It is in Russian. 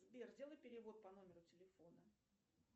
сбер сделай перевод по номеру телефона